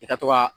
I ka to ka